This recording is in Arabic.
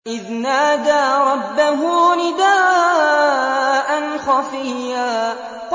إِذْ نَادَىٰ رَبَّهُ نِدَاءً خَفِيًّا